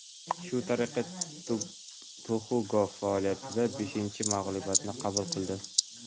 Shu tariqa Tuxugov faoliyatidagi beshinchi mag‘lubiyatini qabul qilib oldi.